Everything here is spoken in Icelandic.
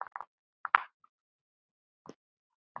Linda hafði fermst árið áður.